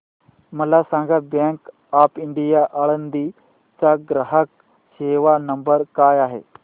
मला सांगा bank of India Alandi चा ग्राहक सेवा नंबर काय आहे